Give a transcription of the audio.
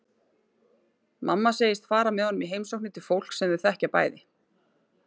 Mamma segist fara með honum í heimsóknir til fólks sem þau þekkja bæði.